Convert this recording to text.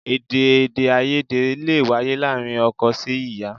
Èdè èdèàìyedè lè wáyé láàárín ọkọ sí ìyá